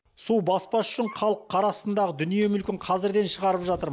су баспас үшін халық қар астындағы дүние мүлкін қазірден шығарып жатыр